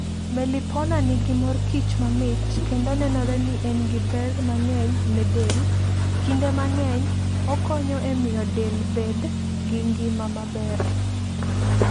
Melipona nigi mor kich mamit kendo nenore ni en gi ber mang'eny ne del. Kinde mang'eny, okonyo e miyo del bed gi ngima maber.